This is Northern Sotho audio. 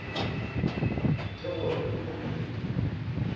ke gore o na le